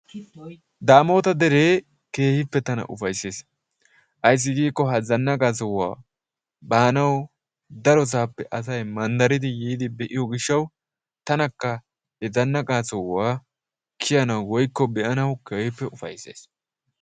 Daamoota deree tana keehi ufaysses. Ayssi giikko ha zannaqa sohuwa baanawu darosaappe asayi manddaridi yiidi be"iyo gishshawu tanakja he zannaqaa sohuwa kiyanawu woykko be"anawu keehippe ufaysses.